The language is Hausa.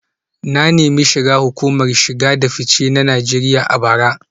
Na nemi shiga hukumar shige da fice ta Najeriya a bara